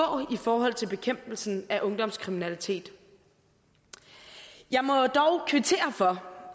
i forhold til bekæmpelsen af ungdomskriminalitet jeg må jo dog kvittere for